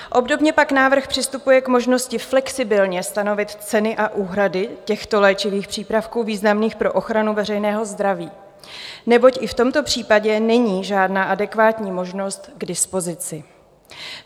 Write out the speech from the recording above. Obdobně pak návrh přistupuje k možnosti flexibilně stanovit ceny a úhrady těchto léčivých přípravků významných pro ochranu veřejného zdraví, neboť i v tomto případě není žádná adekvátní možnost k dispozici.